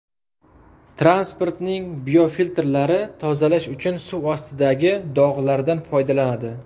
Transportning biofiltrlari tozalash uchun suv ustidagi bog‘lardan foydalanadi.